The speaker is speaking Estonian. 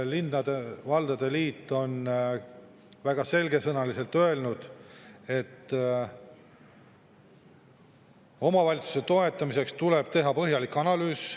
Linnade-valdade liit on väga selgesõnaliselt öelnud, et omavalitsuste toetamiseks tuleb teha põhjalik analüüs.